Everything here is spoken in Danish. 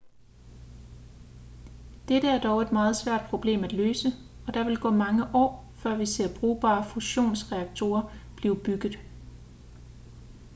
dette er dog et meget svært problem at løse og der vil gå mange år før vi ser brugbare fusionsreaktorer blive bygget